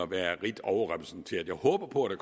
være rigt overrepræsenteret jeg håber på at